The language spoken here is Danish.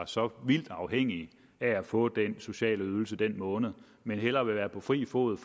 så vildt afhængige af at få de sociale ydelser den måned men hellere vil være på fri fod